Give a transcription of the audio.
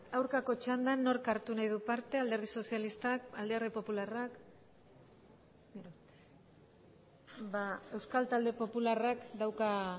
aurkako txandan nork hartu nahi du parte alderdi sozialistak alderdi popularrak euskal talde popularrak dauka